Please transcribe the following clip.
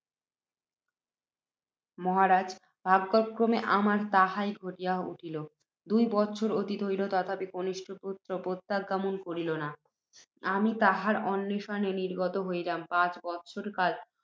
মহারাজ! ভাগ্যক্রমে আমার তাহাই ঘটিয়া উঠিল। দুই বৎসর অতীত হইল, তথাপি কনিষ্ঠ পুত্ত্র প্রত্যাগমন করিল না। আমি তাহার অন্বেষণে নির্গত হইলাম, পাঁচ বৎসর কাল